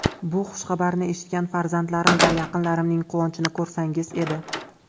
Bu xushxabarni eshitgan farzandlarim va yaqinlarimning quvonchini ko‘rsangiz edi.